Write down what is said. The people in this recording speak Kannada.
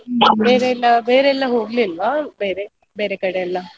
ಬೇರೆಲ್ಲ ಬೇರೆಲ್ಲ ಹೋಗ್ಲಿಲ್ವಾ ಬೇರೆ ಬೇರೆ ಕಡೆ ಎಲ್ಲಾ?